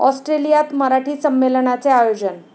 ऑस्ट्रेलियात मराठी संमेलनाचे आयोजन